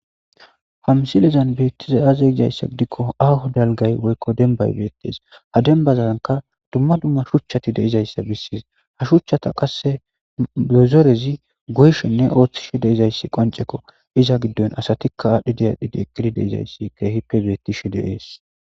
hamsilezan beettiza aze gizayssa gidikko aaho dalgay woykko denbay beettees ha denbazanka dumma dumma shuchchati deizayssa bissiis ha shuchchata qasse bezorezi goyshenne ooththishe deizayssi qoncekko iza giddon asatikka aadhdhi diyadhidi ekkidi deizayssi keehippe beettishi deees